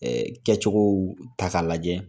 ƐƐ Kɛcogow ta k'a lajɛ